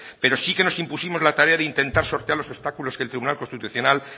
pero sí que nos impusimos la tarea de intentar sortear los obstáculos que el tribunal constitucional